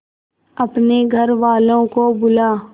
अपने घर वालों को बुला